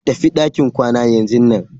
Tafi ɗakin kwana yanzunan.